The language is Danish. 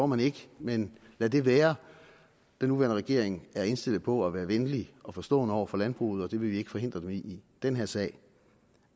man ikke men lad det være den nuværende regering er indstillet på at være venlig og forstående over for landbruget og det vil vi ikke forhindre dem i i den her sag